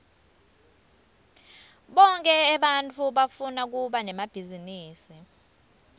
bonkhe ebantfu bafuna kuba nemabhizinisi